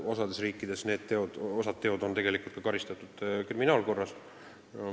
Osas riikides on osa nendest tegudest karistatavad kriminaalkorras.